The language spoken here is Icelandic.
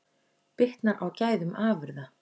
Bitnar á gæðum afurða